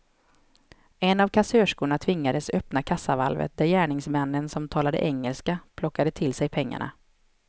En av kassörskorna tvingades öppna kassavalvet där gärningsmännen, som talade engelska, plockade till sig pengarna.